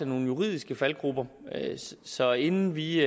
nogle juridiske faldgruber så inden vi